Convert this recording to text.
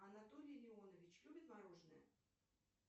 анатолий леонович любит мороженое